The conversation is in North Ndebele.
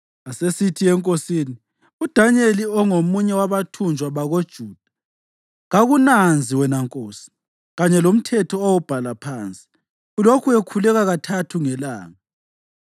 Asesithi enkosini, “UDanyeli, ongomunye wabathunjwa bakoJuda, kakunanzi, wena nkosi, kanye lomthetho owawubhala phansi. Ulokhu ekhuleka kathathu ngelanga.”